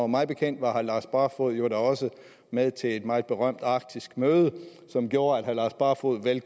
mig bekendt var herre lars barfoed jo da også med til et meget berømt arktisk møde som gjorde at herre lars barfoed vel